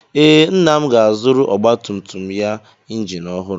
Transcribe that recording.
Ee, Nna m ga-azụrụ ọgbatumtum ya injin ọhụrụ.